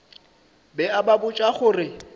be a ba botša gore